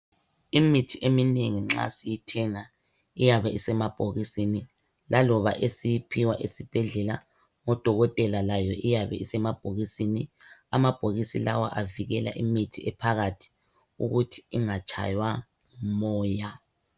Imithi eminengi nxa siyithenga iyabe isemabhokisini, laloba esiyiphiwa esibhedlela ngodokotela layo iyabe isemabhokisini. Amabhokisi lawa avikela imithi ephakathi ukuthi ingatshaywa ngumoya.